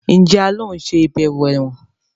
Njé a ló ń ṣe ibẹwo èwòn?